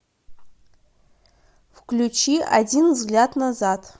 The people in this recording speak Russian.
включи один взгляд назад